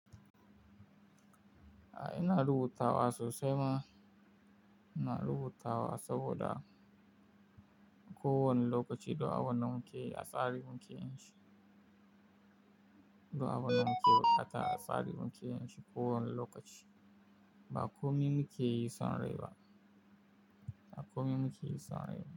Ah ina rubutawa sosai ma. Ina rubutawa saboda ko wane lokaci da wanan muke, a tsarin muke yin shi. Duk abinda muke, hakan a tsarin muke yin shi ko wane lokaci. Ba komai muke yin son rai ba. Ba komai muke yi son rai ba.